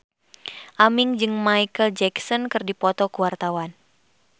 Aming jeung Micheal Jackson keur dipoto ku wartawan